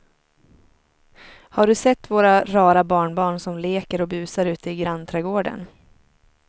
Har du sett våra rara barnbarn som leker och busar ute i grannträdgården!